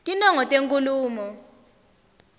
tinongo tenkhulumo